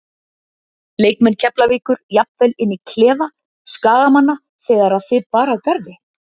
Leikmenn Keflavíkur jafnvel inn í klefa Skagamanna þegar að þig bar að garði?